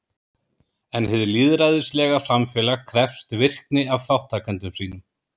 En hið lýðræðislega samfélag krefst virkni af þátttakendum sínum.